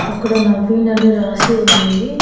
అక్కడ నవీన్ అని రాసి ఉంది.